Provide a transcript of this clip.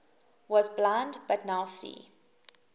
was blind but now see